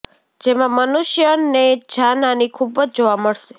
જેમાં મનુષ્ય ને જાનહાની ખુબ જ જોવા મળશે